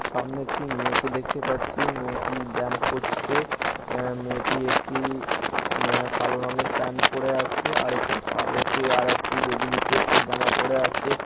সামনে একটি মেয়েকে দেখতে পাচ্ছি মেয়েটি ব্যায়াম করছে আ মেয়েটি একটি ম্যা কালো রংয়ের প্যান্ট পড়ে আছে । আর একটি কালো তে আর একটি বেগুনিতে একটা জামা পড়ে আছে।